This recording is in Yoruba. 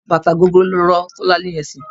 Bàtà gogoro ló rọ́ Tọ́lá ní eṣẹ́.